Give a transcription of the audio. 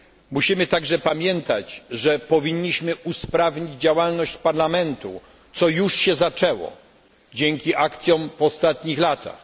Musimy także pamiętać, że powinniśmy usprawnić działalność Parlamentu, co już się zaczęło dzięki akcjom w ostatnich latach.